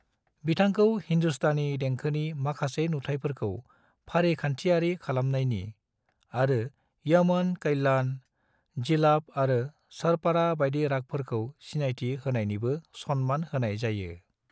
बिथांखौ हिन्दुस्तानी देंखोनि माखासे नुथायफोरखौ फारिखानथियारि खालामनायनि, आरो यमन कल्याण, जिलाफ आरो सरपाड़ा बायदि रागफोरखौ सिनायथि होनायनिबो सनमान होनाय जायो।